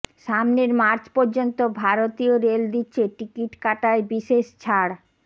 সামনের মার্চ পর্যন্ত ভারতীয় রেল দিচ্ছে টিকিট কাটায় বিশেষ ছাড়